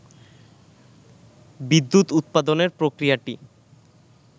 বিদ্যুৎ উৎপাদনের প্রক্রিয়াটি